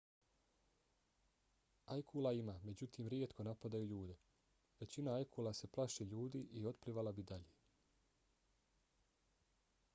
ajkula ima međutim rijetko napadaju ljude. većina ajkula se plaši ljudi i otplivala bi dalje